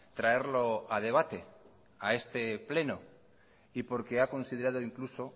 traerlo a debate a este pleno y porque ha considerado incluso